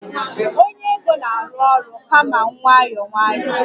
onye ego na-arụ ọrụ kama nwayọọ nwayọọ